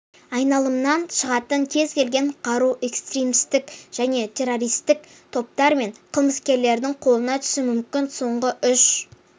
айналымнан шығатын кез келген қару экстремистік және террористік топтар мен қылмыскерлердің қолына түсуі мүмкін соңғы үш